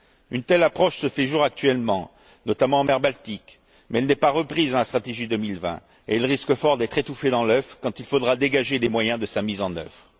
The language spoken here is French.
Une telle approche se fait jour actuellement, notamment en mer Baltique, mais elle n'est pas reprise dans la stratégie 2020 et elle risque fort d'être étouffée dans l'œuf quand il faudra dégager les moyens de sa mise en œuvre.